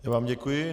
Já vám děkuji.